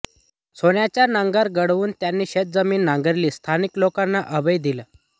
सोन्याचा नांगर घडवून त्यांनी शेतजमीन नांगरली स्थानिक लोकांना अभय दिले